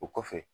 O kɔfɛ